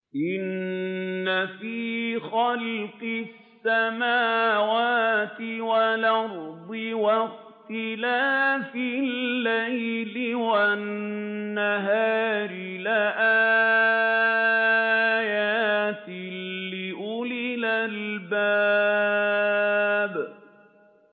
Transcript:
إِنَّ فِي خَلْقِ السَّمَاوَاتِ وَالْأَرْضِ وَاخْتِلَافِ اللَّيْلِ وَالنَّهَارِ لَآيَاتٍ لِّأُولِي الْأَلْبَابِ